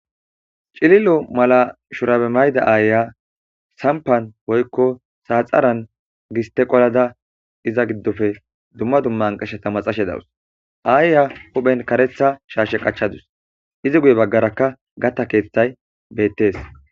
cililo mala shurabe mayda aaya sampan woykko saaxaran giste qolada iza giddofe dumma dumma nqashata maxashe dawus aaya huphen karetha shaashe qachadus izi guye baggarakka gatta keeththay beettes